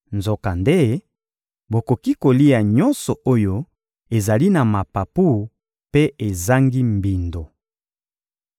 Nzokande, bokoki kolia nyonso oyo ezali na mapapu mpe ezangi mbindo.